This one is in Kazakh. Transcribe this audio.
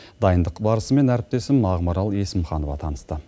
дайындық барысымен әріптесім ақмарал есімханова танысты